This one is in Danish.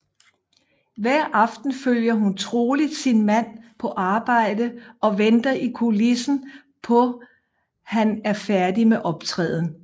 Hver aften følger hun troligt sin mand på arbejde og venter i kulissen på han er færdig med optræden